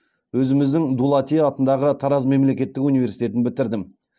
өзіміздің дулати атындағы тараз мемлекеттік университетін бітірдім